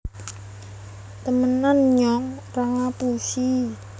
temenan nyong ra ngapusi